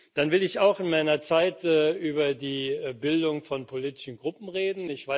Dann will ich auch in meiner Zeit über die Bildung von politischen Gruppen reden.